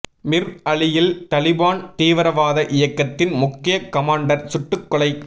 மிர் அலியில் தலிபான் தீவிரவாத இயக்கத்தின் முக்கிய கமாண்டர் சுட்டுக் கொலை